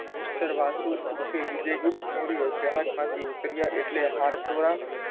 mister Vasu ઉર્ફે વિજય ગુપ્ત મોર્ય જહાજમાંથી ઉતર્યા એટલે હારત્વાં,